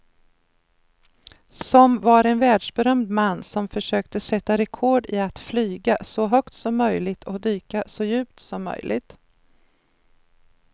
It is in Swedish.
Som var en världsberömd man som försökte sätta rekord i att flyga så högt som möjligt och dyka så djupt som möjligt.